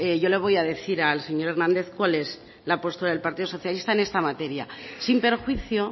yo le voy a decir al señor hernández cuál es la apuesta del partido socialista en esta materia sin perjuicio